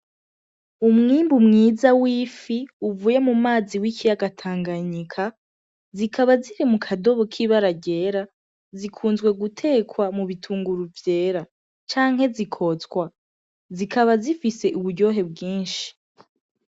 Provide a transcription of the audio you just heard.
Umwimbu mwiza wifi uvuye mumazi w' ikiyaga Tanganyika zikaba ziri mukadobo k'ibara ryera, zikunzwe gutekwa mubitunguru vyera canke zikotswa zikaba zifise uburyohe bwinshi.